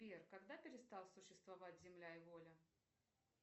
сбер когда перестал существовать земля и воля